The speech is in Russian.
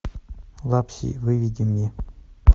лапси выведи мне